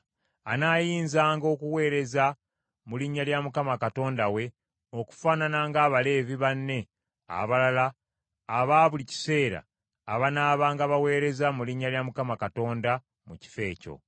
anaayinzanga okuweereza mu linnya lya Mukama Katonda we okufaanana nga Abaleevi banne abalala aba buli kiseera abanaabanga baweereza mu linnya lya Mukama Katonda mu kifo ekyo.